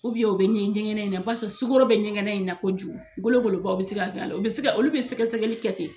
u bɛ ɲɛ ɲɛgɛn in na basa sukaro bɛ ɲɛgɛn in na koju golo golobaw bɛ se ka kɛ a la o bɛ se ka olu bɛ sɛgɛ sɛgɛli kɛ ten.